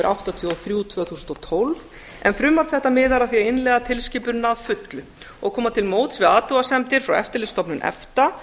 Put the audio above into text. áttatíu og þrjú tvö þúsund og tólf en frumvarp þetta miðar að því að innleiða tilskipunina að fullu og koma til móts við athugasemdir frá eftirlitsstofnun efta